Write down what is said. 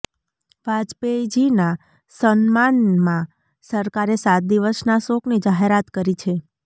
વાજપેયીજીના સન્માનમાં સરકારે સાત દિવસના શોકની જાહેરાત કરી છે